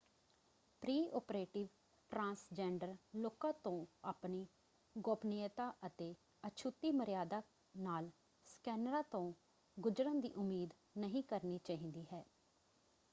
Pre-operative transgender ਲੋਕਾਂ ਤੋਂ ਆਪਣੀ ਗੋਪਨੀਯਤਾ ਅਤੇ ਅਛੁਤੀ ਮਰਿਆਦਾ ਨਾਲ ਸਕੈਨਰਾਂ ਤੋਂ ਗੁਜਰਨ ਦੀ ਉਮੀਦ ਨਹੀਂ ਕਰਨੀ ਚਾਹੀਦੀ ਹੈ।